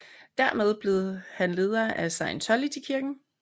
Dermed blev han leder af Scientologykirken